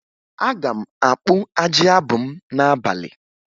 Aga m akpụ ajị abụ m n'abalị